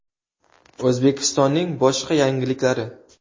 O‘zbekistonning boshqa yangiliklari.